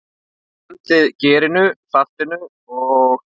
Blandið gerinu, saltinu og?